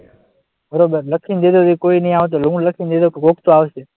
બરાબર, લખીને દઈએ કે કોઈ નહીં આવે હું લખી ને દઈ દઉં કે કોક તો આવશે.